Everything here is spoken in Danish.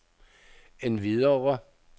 endvidere